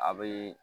A bɛ